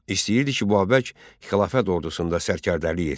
İstəyirdi ki, Babək xilafət ordusunda sərkərdəlik etsin.